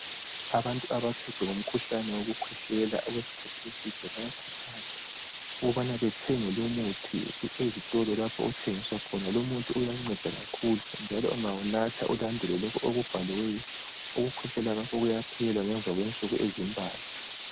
Abantu abaphethwe ngumkhuhlane wokukhwehlela okwesikhathi eside. Bayakhuthazwa ukubana bathenge lumuthi, ezitolo lapha othengiswa khona. Lumuthi uyanceda kakhulu, njalo ungawunatha, ulandele lokho okubhaliweyo, ukukhwehlela kwakho kuyaphela ngemva kwensuku ezimbalwa.